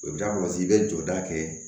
O da kɔlɔsi i bɛ jɔda kɛ